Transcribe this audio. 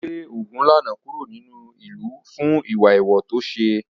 Wọ́n lé Ogunlana kúrò nínú ìlú fún ìwà èèwọ̀ tó ṣe.